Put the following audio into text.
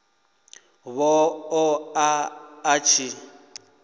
vha ṱo ḓa a tshi